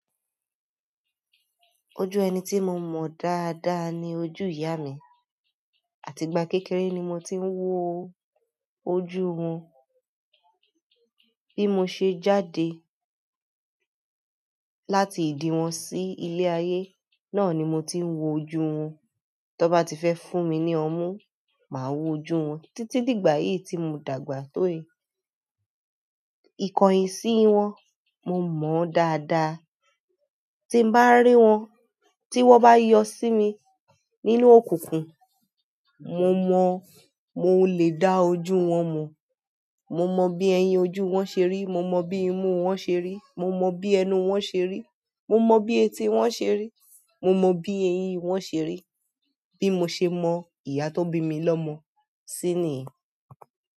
Ojú ẹni tí mo mọ dáadáa ni ojú ìyá mi. Àti ìgbà kékeré ni mo ti ń wo ojú wọn. Bí mo ṣe jáde láti ìdí wọn sí ilé ayé, náà ni mo ti ń wo ojú wọn. To bá ti fẹ́ fún mi ní ọmú, màá wo ojú wọn. Títí dìgbà yìí tí mo dàgbà tó yìí. Ikọ̀yín sí wọn, mo mọ dáadáa. Tí n bá rí wọn, tí wọ́n bá yọ sí mi nínú òkùnkùn, mo mọ mo lè dá ojú wọn mọ̀. Mo mọ bí ẹyin ojú wọn ṣe rí, mo mọ bí imú wọn ṣe rí, mo mọ bí ẹnu wọn ṣe rí, mo mọ bí etí wọn ṣe rí, mo mọ bí eyín wọn ṣe rí. Bí mo ṣe mọ ìyá tó bí mi lọ́mọ sí niyen.